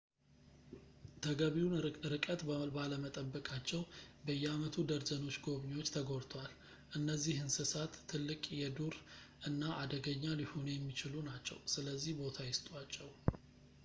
ተገቢውን እርቀት ባለመጠበቃቸው በየአመቱ ደርዘኖች ጎብኚዎች ተጎድተዋል እነዚህ እንስሳት ትልቅ የዱር እና አደገኛ ሊሆኑ የሚችሉ ናቸው ስለዚህ ቦታ ይስጧቸው